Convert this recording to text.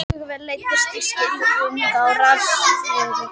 Uppgötvunin leiddi til skilgreiningar á rafsegulsviði.